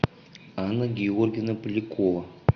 анна георгиевна полякова